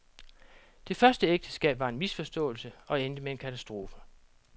Det første ægteskab var en misforståelse og endte med en katastrofe.